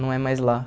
Não é mais lá.